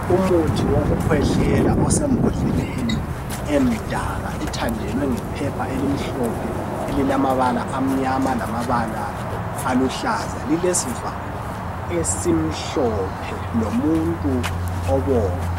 Umuthi wokukhwehlela osembhodleleni emdaka ethandelwe ngephepha elimhlophe elilamabala amnyama lamabala aluhlaza . Ilesivalo esimhlophe lomuntu obomvu.